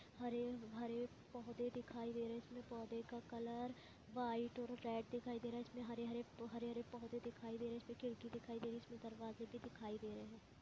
हरे-भरे पौधे दिखाई दे रहे है इसमें पौधे का कलर व्हाइट और रेड दिखाई दे रहा है इसमें हरे-हरे हरे-हरे पौधे दिखाई दे रहे है इसमे खिड़की दिखाई दे रही है इसमें दरवाजे़ भी दिखाई दे रहे है।